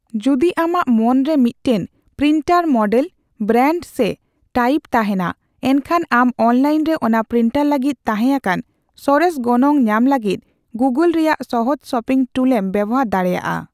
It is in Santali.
ᱡᱩᱫᱤ ᱟᱢᱟᱜ ᱢᱚᱱᱨᱮ ᱢᱤᱫᱴᱮᱱ ᱯᱨᱤᱱᱴᱟᱨ ᱢᱚᱰᱮᱞ, ᱵᱨᱮᱱᱰ ᱥᱮ ᱴᱟᱭᱤᱯ ᱛᱟᱦᱮᱸᱱᱟ, ᱮᱱᱠᱷᱟᱱ ᱟᱢ ᱚᱱᱞᱟᱭᱤᱱ ᱨᱮ ᱚᱱᱟ ᱯᱨᱤᱱᱴᱟᱨ ᱞᱟᱹᱜᱤᱫ ᱛᱟᱦᱮᱸᱟᱠᱟᱱ ᱥᱚᱨᱮᱥ ᱜᱚᱱᱚᱝ ᱧᱟᱢ ᱞᱟᱹᱜᱤᱫ ᱜᱩᱜᱳᱞ ᱨᱮᱭᱟᱜ ᱥᱚᱦᱚᱡ ᱥᱚᱯᱤᱝ ᱴᱩᱞ ᱮᱢ ᱵᱮᱣᱦᱟᱨ ᱫᱟᱲᱮᱭᱟᱜᱼᱟ ᱾